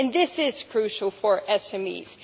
This is crucial for